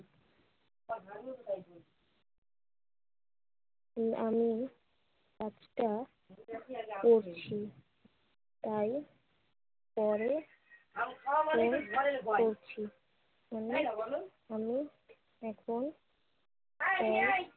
আমি আটকা পড়েছি। তাই পরে ফোন করছি। আমি এখন